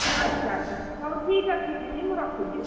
ଆଚ୍ଛା ଆଚ୍ଛା ହଉ ଠିକ୍ ଅଛି ଦିଦି ମୁଁ ରଖୁଛି।